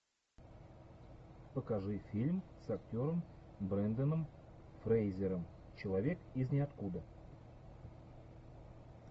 покажи фильм с актером бренданом фрейзером человек из ниоткуда